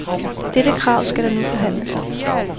Dette krav skal der nu forhandles om.